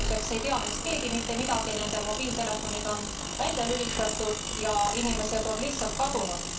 Ja praeguseks ei tea neist keegi mitte midagi. Nende mobiiltelefonid on välja lülitatud ja inimesed on lihtsalt kadunud.